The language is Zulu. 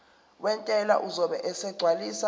wentela uzobe esegcwalisa